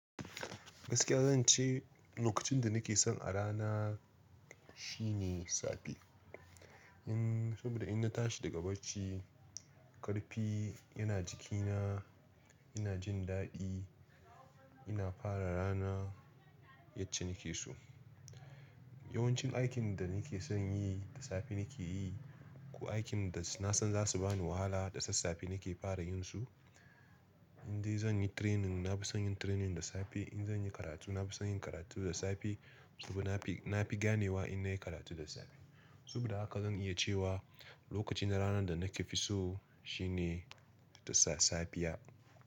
Gaskiya zan ce lokacin da nake son a rana shine safe. In saboda in na tashi daga bacci, ƙarfi yana jikina, ina jin daɗi, ina fara rana yacce nake so. Yawancin aikin da nake son yi da safe nake yi, ko aikin da na san za su bani wahala da sassafe nake fara yin su. In dai zan yi training, na fi son yin training da safe. In zan yi karatu, na fi son yin karatu da safe. Saboda na fi, na fi ganewa in nayi karatu da safe. Saboda haka zan iya cewa lokacin ranar da nake fi so shine da safiya.